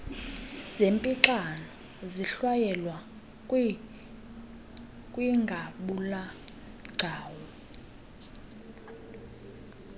zernpixano zihlwayelwa kwingabulagcawu